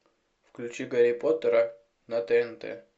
включи гарри поттера на тнт